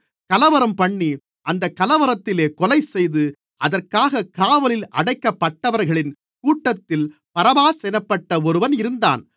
கலவரம்பண்ணி அந்தக் கலவரத்திலே கொலைசெய்து அதற்காகக் காவலில் அடைக்கப்பட்டவர்களின் கூட்டத்தில் பரபாஸ் என்னப்பட்ட ஒருவன் இருந்தான்